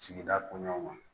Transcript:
Sigida koɲuman